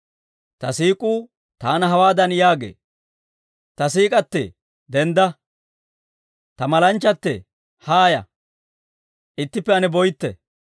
Ta siik'uu taana hawaadan yaagee; Ta siik'k'atee, dendda! Ta malanchchatee, haaya! Ittippe ane boytte.